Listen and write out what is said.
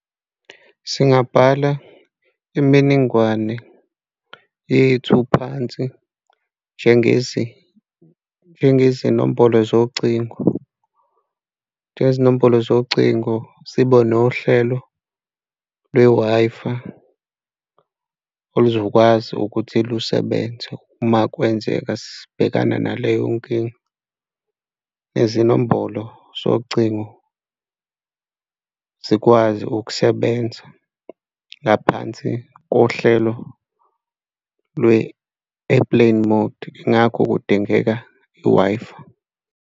Singabhala iminingwane yethu phansi njengezinombolo zocingo, njengezinombolo zocingo, sibe nohlelo lwe-Wi-Fi oluzokwazi ukuthi lusebenze uma kwenzeka sibhekana naleyo nkinga. Nezinombolo zocingo zikwazi ukusebenza ngaphansi kohlelo lwe-airplane mode, ingakho kudingeka i-Wi-Fi.